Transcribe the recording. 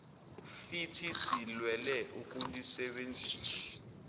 fithi silwele ukulusebenzisa